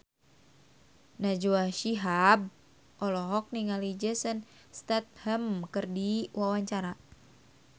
Najwa Shihab olohok ningali Jason Statham keur diwawancara